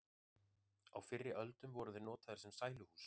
á fyrri öldum voru þeir notaðir sem sæluhús